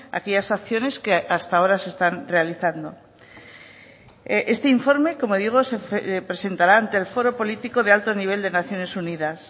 aquellas acciones que hasta ahora se están realizando este informe como digo se presentará ante el foro político de alto nivel de naciones unidas